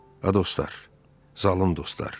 Ha dostlar, zalım dostlar.